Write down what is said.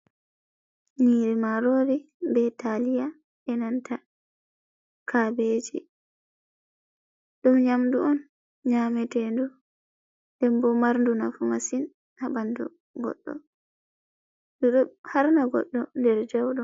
Nyiri marori be taliya e nanta kabeji, ɗum nyamdu on nyamete ndu ndembo marndu nafu masin ha ɓandu goɗɗo ɗo harna godɗo nder jauɗum.